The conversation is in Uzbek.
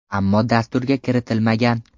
Ammo dasturga kiritilmagan.